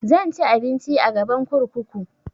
Zan ci abinci a gaban kurkuku